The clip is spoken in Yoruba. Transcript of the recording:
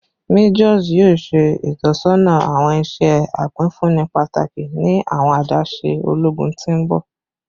Majors yoo ṣe itọsọna awọn iṣẹ apinfunni pataki ni awọn adaṣe ologun ti n bọ